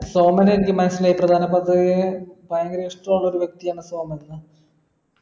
സോമനെനിക്ക് മനസ്സിലായി പ്രധാന മന്ത്രിയെ ഭയങ്കര ഇഷ്ട ഉള്ള ഒരു വ്യക്തിയാണ് സോമൻന്ന്